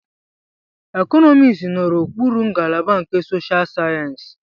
Economics nọ n'okpuru ngalaba nke Social Sciences.